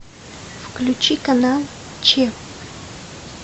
включи канал че